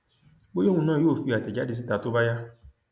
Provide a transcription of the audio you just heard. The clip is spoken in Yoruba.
bóyá òun náà yóò fi àtẹjáde síta tó bá yá